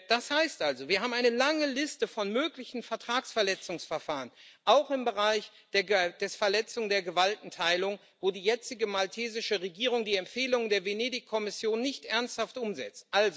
Das heißt also, wir haben eine lange Liste von möglichen Vertragsverletzungsverfahren, auch im Bereich der Verletzung der Gewaltenteilung, wo die jetzige maltesische Regierung die Empfehlungen der Venedig Kommission nicht ernsthaft umsetzt.